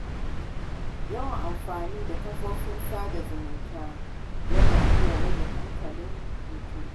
Yawan amfani da kafofin sada zumunta yana iya rage hankalin mutum.